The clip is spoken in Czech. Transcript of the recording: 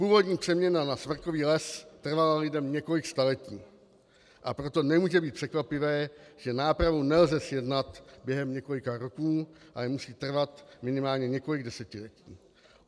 Původní přeměna na smrkový les trvala lidem několik staletí, a proto nemůže být překvapivé, že nápravu nelze zjednat během několika roků, ale musí trvat minimálně několik desetiletí.